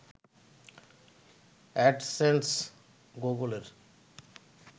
AdSense গুগলের